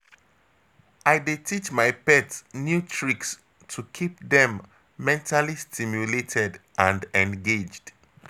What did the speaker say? I dey teach my pet new tricks to keep dem mentally stimulated and engaged.